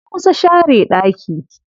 Na kusa share ɗaki.